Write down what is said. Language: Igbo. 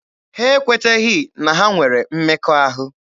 Ha ekweteghị na ha nwere mmekọahụ.